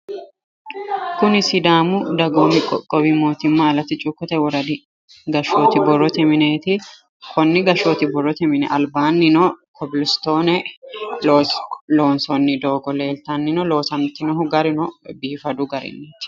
Kuni sidaamu dagoomi qoqqowi mootimma alatti cuukkote woradi gashshooti borrote mineeti konni gashshooti borrote mini albaannino kobilistoone loonsoonni doogo leeltannino loosantinohu garuno biifadu garinniiti